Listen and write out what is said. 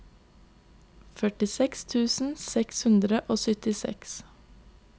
førtiseks tusen seks hundre og syttiseks